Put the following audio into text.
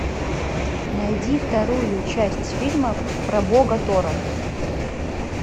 найди вторую часть фильма про бога тора